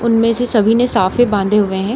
उनमें से सभी ने साफे बांधे हुए हैं।